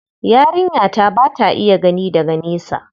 Yarinya ta ba ta iya gani daga nesa.